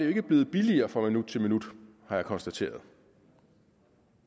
ikke blevet billigere fra minut til minut har jeg konstateret